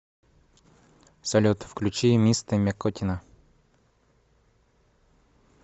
салют включи мистэ мякотина